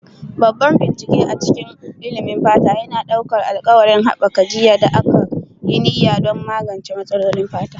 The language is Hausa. Babban bincike a cikin ilimin fata yana ɗaukar alƙawarin haɓaka jiyya da aka yi niyya don magance matsalolin fata.